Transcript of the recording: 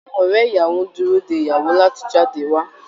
Àwọn ọ̀rẹ́ ìyàwó ń dúró de ìyàwó láti jáde wá